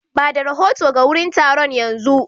Ba da rahoto ga wurin taron yanzu.